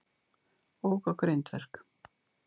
Ók á grindverk